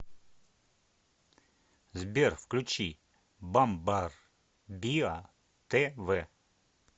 сбер включи бамбарбиа тэ вэ